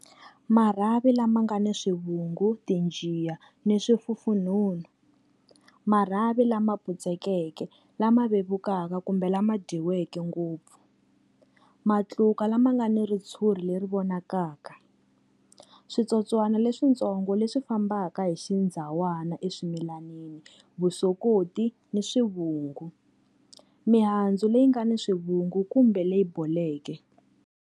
Marhavi lama nga ni swivungu, tinjiya ni swifufunhunhu. Marhavi lama putsekeke lama vevukaka kumbe lama dyiweke ngopfu. Matluka lama nga ni ritshuri leri vonakaka. Switsotswana leswintsongo leswi fambaka hi xindzawana eswimilanini, vusokoti ni swivungu. Mihandzu leyi nga ni swivungu kumbe leyi boleke.